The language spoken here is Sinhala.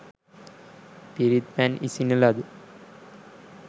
පිරිත් පැන් ඉසින ලද